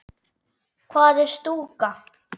Hvað er stúka?